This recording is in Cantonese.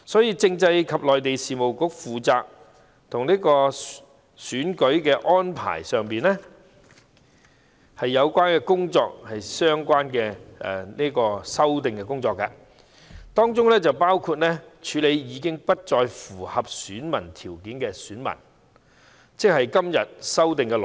因此，該局負責就有關選舉安排的工作進行相關的修訂，當中包括處理已不再符合選民資格的功能界別團體，即今次修例的內容。